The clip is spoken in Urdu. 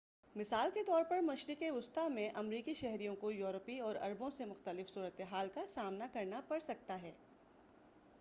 مثال کے طور پر مشرق وسطی میں امریکی شہریوں کو یوروپی اور عربوں سے مختلف صورتحال کا سامنا کرنا پڑ سکتا ہے